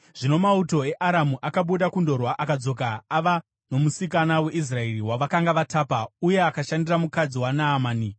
Zvino mauto eAramu akabuda kundorwa akadzoka ava nomusikana weIsraeri wavakanga vatapa, uye akashandira mukadzi waNaamani.